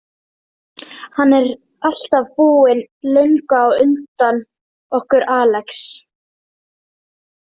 Hann er alltaf búinn löngu á undan okkur Alex.